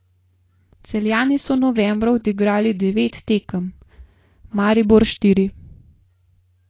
Celjani so novembra odigrali devet tekem, Maribor štiri.